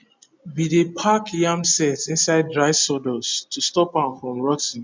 we dey pack yam sett inside dry sawdust to stop am from rotty